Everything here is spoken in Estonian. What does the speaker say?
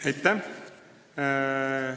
Aitäh!